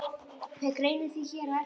Fer greinin því hér á eftir.